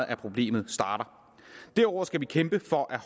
af problemet starter derudover skal vi kæmpe for at